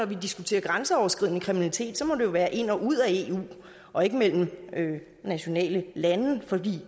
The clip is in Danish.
vi diskuterer grænseoverskridende kriminalitet må det være ind og ud af eu og ikke mellem nationalstater for